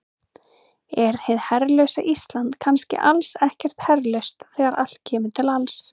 Er hið herlausa Ísland kannski alls ekkert herlaust þegar allt kemur til alls?